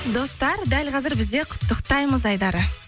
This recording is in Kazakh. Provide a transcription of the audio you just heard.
достар дәл қазір бізде құттықтаймыз айдары